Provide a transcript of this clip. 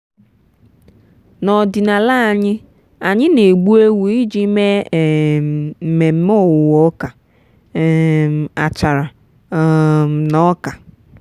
n'ọdịnala anyị anyị na-egbu ewu iji mee um mmemme owuwe ọka um achara um na ọka.